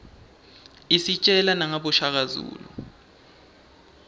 isitjela nangaboshaka zulu